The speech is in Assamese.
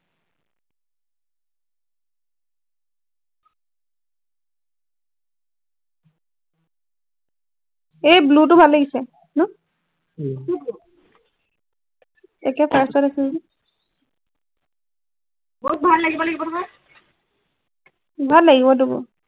এই blue টো ভাল লাগিছে ন উম কোনটো একে first আছে যে মোক ভাল লাগিব নহয় ভাল লাগিব তোকো